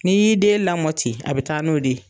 Ni y'i den lamɔ ten a bi taa n'o de ye